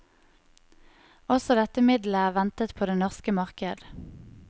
Også dette middelet er ventet på det norske marked.